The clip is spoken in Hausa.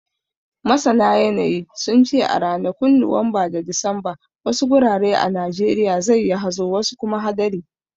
Masana yanayi, sun ce a ranakun Nuwamba da Disamba, wasu gurare a Najeriya zai yi hazo wasu kuma hadari.